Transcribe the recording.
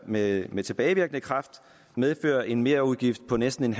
med med tilbagevirkende kraft medføre en merudgift på næsten